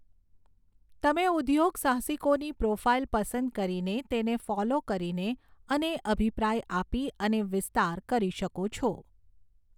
તમે ઉદ્યોગસાહસિકોની પ્રોફાઇલ પસંદ કરીને, તેને ફોલો કરીને અને અભિપ્રાય આપી અને વિસ્તાર કરી શકો છો.